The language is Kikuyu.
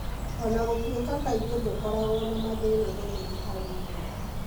O na gũtuĩka kaingĩ ndũkoragwo na mathĩna manene harĩ mwĩrĩ,